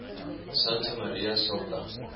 santa maria sopra